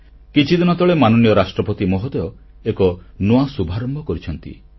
କିଛିଦିନ ତଳେ ମାନନୀୟ ରାଷ୍ଟ୍ରପତି ମହୋଦୟ ଏକ ନୂଆ ଶୁଭାରମ୍ଭ କରିଛନ୍ତି